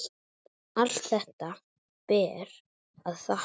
Allt þetta ber að þakka.